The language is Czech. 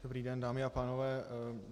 Dobrý den, dámy a pánové.